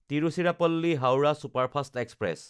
তিৰুচিৰাপল্লী–হাওৰা superfast express